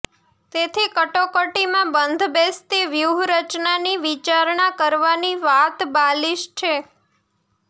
તેથી કટોકટીમાં બંધબેસતી વ્યૂહરચનાની વિચારણા કરવાની વાત બાલીશ છે